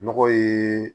Nɔgɔ ye